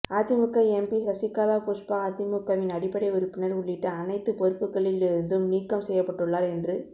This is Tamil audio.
அதிமுக எம்பி சசிகலா புஷ்பா அதிமுகவின் அடிப்படை உறுப்பினர் உள்ளிட்ட அனைத்து பொறுப்புக்களில் இருந்தும் நீக்கம் செய்யப்பட்டுள்ளார் என்று